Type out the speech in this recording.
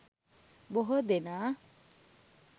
බොහෝ දෙනා